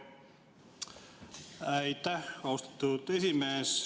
Aitäh, austatud esimees!